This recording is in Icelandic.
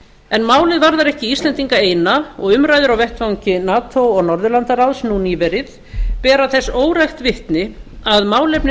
en málið varðar ekki íslendinga eina og umræður á vettvangi nato og norðurlandaráðs nú nýverið bera þess órækt vitni að málefni